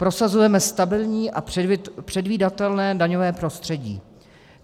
"Prosazujeme stabilní a předvídatelné daňové prostředí.